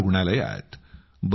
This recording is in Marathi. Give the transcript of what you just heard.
प्रयागरुग्णालयात